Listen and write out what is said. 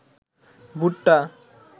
ভুট্টা